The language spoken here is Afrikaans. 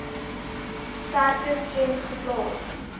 sterker klem geplaas